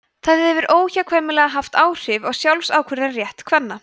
það hefur óhjákvæmilega haft áhrif á sjálfsákvörðunarrétt kvenna